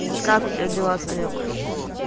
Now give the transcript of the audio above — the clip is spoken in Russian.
вот как у тебя дела санёк